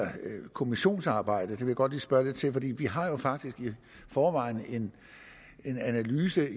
kommissionsarbejde det vil jeg godt lige spørge lidt til for vi vi har jo faktisk i forvejen en analyse